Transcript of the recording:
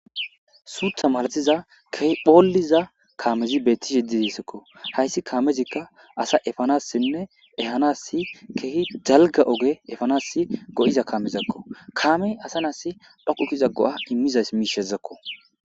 Suutha malathiza ke phooliza kaamezi beettish yeddidisekko hayssi kaamezikka asa efanassinne ehanasi keehi dalga oge efanas go'iza kaamezakko kaamey asa naasi dhokukkiza go'a immizas miishezakko.